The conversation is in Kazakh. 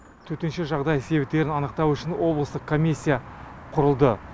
төтенше жағдай себептерін анықтау үшін облыстық комиссия құрылды